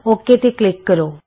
okay ਤੇ click ਕਰੋ